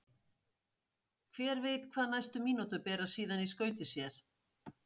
Hver veit hvað næstu mínútur bera síðan í skauti sér?